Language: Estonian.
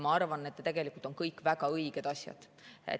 Ma arvan, et need on kõik väga õiged asjad.